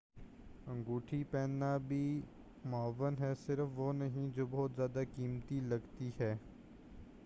انگوٹھی پہننا بھی معاون ہے صرف وہ نہیں جو بہت زیادہ قیمتی لگتی ہے۔